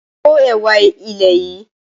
Ko ẹwà ilẹ̀ yìí!